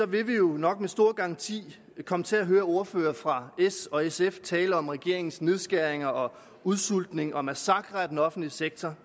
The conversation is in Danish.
vi jo nok med stor garanti komme til at høre ordførere fra s og sf tale om regeringens nedskæringer og udsultning og massakre af den offentlige sektor